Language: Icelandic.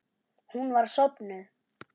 Hún var sofnuð.